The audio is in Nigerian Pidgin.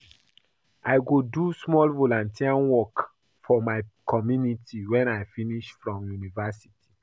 I go do small volunteer work for my community wen I finish from university.